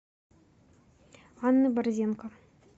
анны борзенко